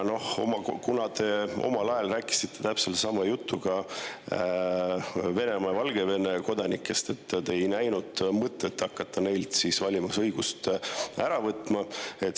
Aga te omal ajal rääkisite täpselt sama juttu ka Venemaa ja Valgevene kodanikest, te ei näinud mõtet hakata neilt valimisõigust ära võtma.